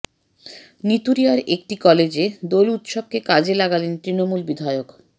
নিতুড়িয়ার একটি কলেজে দোল উৎসবকে কাজে লাগালেন তৃণমূল বিধায়ক